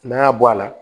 N'a y'a bɔ a la